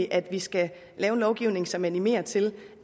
at vi skal lave en lovgivning som animerer til